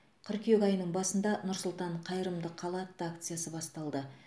қыркүйек айының басында нұр сұлтан қайырымды қала атты акция басталды